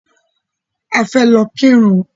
A fẹ́ lọ kírun